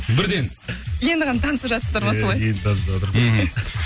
бірден енді ғана танысып жатсыздар ма солай иә енді танысыватырық мхм